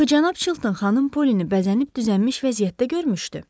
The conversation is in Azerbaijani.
Axı cənab Chilton xanım Polyeni bəzənib-düzənmiş vəziyyətdə görmüşdü.